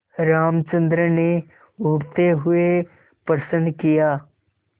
रामचंद्र ने उठते हुए प्रश्न किया